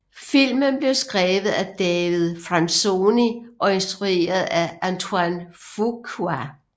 Filmen blev skrevet af David Franzoni og instrueret af Antoine Fuqua